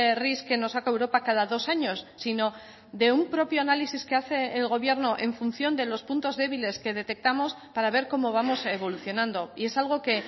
ris que nos saca europa cada dos años sino de un propio análisis que hace el gobierno en función de los puntos débiles que detectamos para ver cómo vamos evolucionando y es algo que